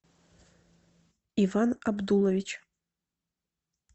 иван абдулович